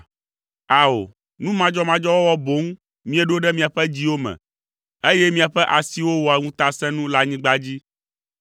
Ao, nu madzɔmadzɔ wɔwɔ boŋ míeɖo ɖe miaƒe dziwo me, eye míaƒe asiwo wɔa ŋutasẽnu le anyigba dzi.